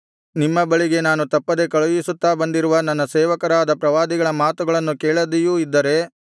ನಿಮ್ಮ ಬಳಿಗೆ ನಾನು ತಪ್ಪದೆ ಕಳುಹಿಸುತ್ತಾ ಬಂದಿರುವ ನನ್ನ ಸೇವಕರಾದ ಪ್ರವಾದಿಗಳ ಮಾತುಗಳನ್ನು ಕೇಳದೆಯೂ ಇದ್ದರೆ